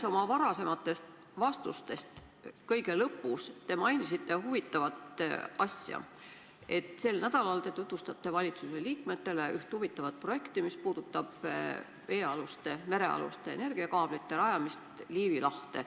Ühe oma varasema vastuse lõpus mainisite te huvitavat asja, et sel nädalal tutvustate te valitsuse liikmetele üht huvitavat projekti, mis puudutab merealuste energiakaablite rajamist Liivi lahte.